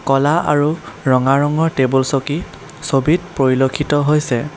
ক'লা আৰু ৰঙা ৰঙৰ টেবুল চকী ছবিত পৰিলেক্ষিত হৈছে।